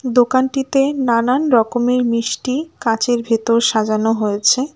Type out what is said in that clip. দোকানটিতে নানান রকমের মিষ্টি কাঁচের ভেতর সাজানো হয়েছে।